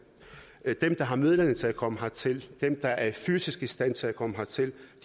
der har midlerne til at komme hertil dem der er fysisk i stand til at komme hertil